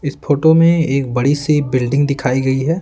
इस फोटो में एक बड़ी सी बिल्डिंग दिखाई गई है।